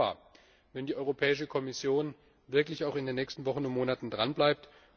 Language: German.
Ich wäre dankbar, wenn die Europäische Kommission wirklich auch in den nächsten Wochen und Monaten dranbleibt.